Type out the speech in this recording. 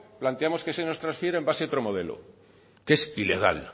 planteamos que se nos transfiera en base a otro modelo que es ilegal